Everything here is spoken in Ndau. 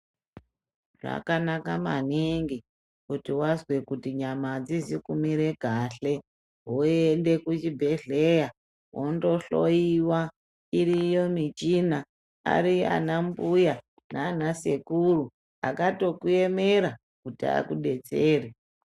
Zvakanaka maningi kuti wazwe kuti nyama adzizi kumire kahle woyende kuchibhehleya wondo hloiwa iriyo muchina ariyo ana mbuya nana sekuru akatokuemera kuti akudetsere.